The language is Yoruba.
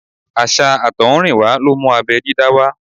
Àṣà àtọ̀húnrìnwá ló mú abẹ́ dídá wá.